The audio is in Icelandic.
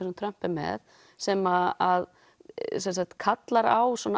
sem Trump er með sem kallar á